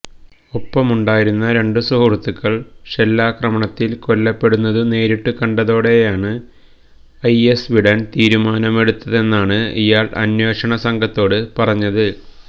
ഒപ്പമുണ്ടായിരുന്ന രണ്ടു സുഹൃത്തുക്കള് ഷെല്ലാക്രമണത്തില് കൊല്ലപ്പെടുന്നതു നേരിട്ടു കണ്ടതോടെയാണ് ഐഎസ് വിടാന് തീരുമാനമെടുത്തതെന്നാണ് ഇയാള് അന്വേഷണ സംഘത്തോട് പറഞ്ഞത്